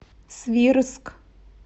свирск